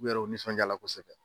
U yɛrɛ u nisɔndijala kosɛbɛ